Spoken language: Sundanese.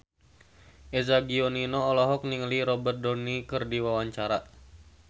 Eza Gionino olohok ningali Robert Downey keur diwawancara